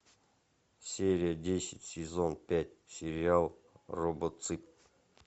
серия десять сезон пять сериал робоцып